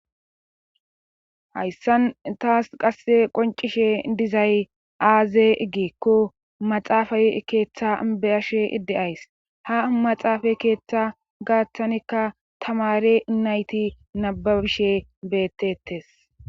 hayssan taas qasse qoncishe dizay aaze giikko maxaafay keeththa be'ashe de'ays ha maxaafay keeththa gaattanekka tamare inayti nababishe bettetes